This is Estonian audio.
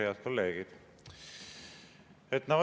Head kolleegid!